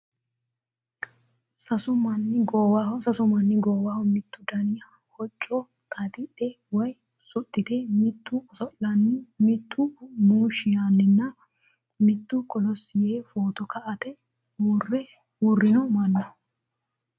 Sasu manni goowaho mittu dani hocco xaaxidhe woy suxxite miittu oso'lanni mittu muushshi yaanninna mittu kolossi yee footo ka'ate uurrino manna.